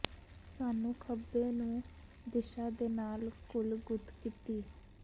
ਸਾਨੂੰ ਖੱਬੇ ਨੂੰ ਦਿਸ਼ਾ ਦੇ ਨਾਲ ਘੁਲ ਗੁੱਤ ਕੀਤੀ